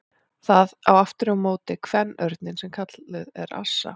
Það á aftur á móti kvenörninn sem kölluð er assa.